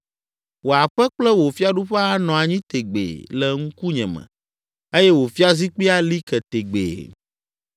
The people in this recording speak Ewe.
Wò aƒe kple wò fiaɖuƒe anɔ anyi tegbee le ŋkunye me, eye wò fiazikpui ali ke tegbee.’ ”